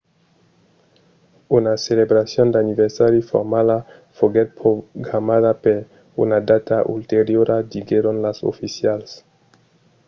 una celebracion d'anniversari formala foguèt programada per una data ulteriora diguèron los oficials